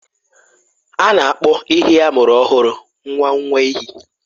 A na-akpọ ehi amụrụ ọhụrụ nwa nwa ehi.